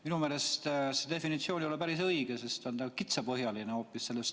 Minu meelest see definitsioon ei ole päris õige, sest see on hoopis kitsapõhjaline.